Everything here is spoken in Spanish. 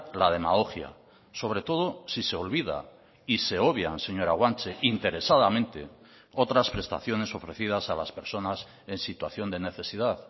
la demagogia sobre todo si se olvida y se obvian señora guanche interesadamente otras prestaciones ofrecidas a las personas en situación de necesidad